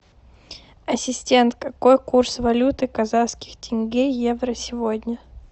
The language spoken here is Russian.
ассистент какой курс валюты казахских тенге евро сегодня